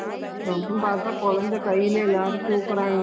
ம்ம்.அப்படியா, ம்மா